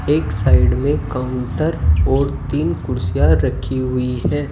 एक साइड में काउंटर और तीन कुर्सियां रखी हुई हैं।